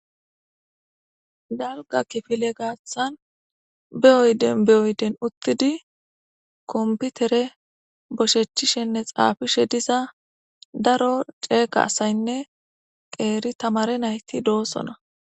dalga kifile gaaththan be7oyden beyoyden uttidi komputere boshechishenne xaafishe diza daro ceeqa asaynne qeeri tamare nayti doosona